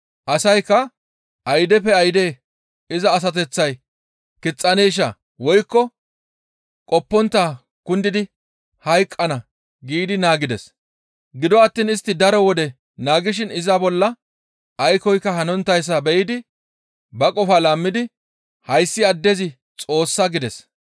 Asaykka, «Aydeppe ayde iza asateththay kixxaneesha; woykko izi qoppontta kundidi hayqqana» giidi naagides; gido attiin istti daro wode naagishin iza bolla aykkoyka hanonttayssa be7idi ba qofaa laammidi, «Hayssi addezi xoossa!» gides.